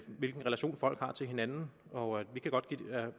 hvilken relation folk har til hinanden og